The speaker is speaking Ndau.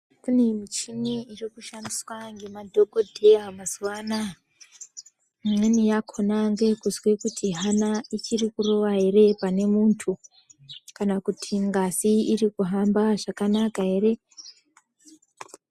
Pane michini iri kushandiswa nemadhokodheya mazuva anaya. Imweni yakona ndeyekunzwa kuti hana ichirikurova ere pane muntu, kana kuti ngazi iri kuhamba zvakanaka ere.